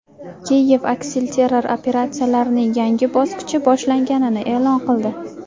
Kiyev aksilterror operatsiyalarining yangi bosqichi boshlanganini e’lon qildi.